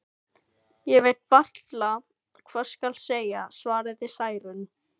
Ég veit varla hvað skal segja, svaraði Særún.